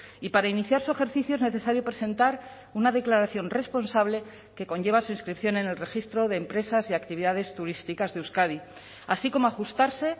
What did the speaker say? y para iniciar su ejercicio es necesario presentar una declaración responsable que conlleva su inscripción en el registro de empresas y actividades turísticas de euskadi así como ajustarse